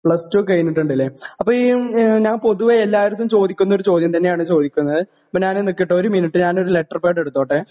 pass two കഴിഞ്ഞിട്ടുണ്ട് അല്ലേ അപ്പോ ഈ ഞാൻ പൊതുവേ എല്ലാരെടുത്തും ചോദിക്കുന്ന ഒരു ചോദ്യം തന്നെയാണ് ചോദിക്കുന്നത് അപ്പോ ഞാന് നിക്കട്ടെ ഒരു മിനിറ്റ് ഞാൻഒരു ലെറ്റർ പാഡ് എടുത്തോട്ടെ